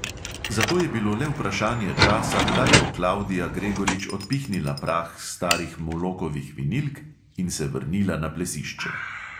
Zato je bilo le vprašanje časa, kdaj bo klavdija gregorič odpihnila prah s starih molokovih vinilk in se vrnila na plesišče.